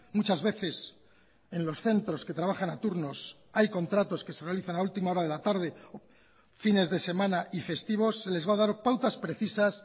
muchas veces en los centros que trabajan a turnos hay contratos que se realizan a última hora de la tarde fines de semana y festivos se les va a dar pautas precisas